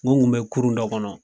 N ko n kun be kurun dɔ kɔnɔ